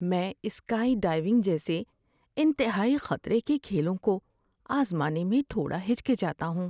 میں sky diving جیسے انتہائی خطرے کے کھیلوں کو آزمانے میں تھوڑا ہچکچاتا ہوں۔